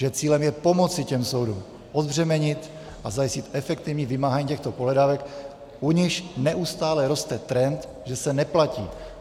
Že cílem je pomoci těm soudům odbřemenit a zajistit efektivní vymáhání těchto pohledávek, u nichž neustále roste trend, že se neplatí.